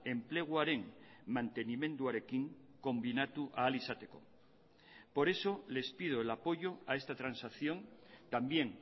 enpleguaren mantenimenduarekin konbinatu ahal izateko por eso les pido el apoyo a esta transacción también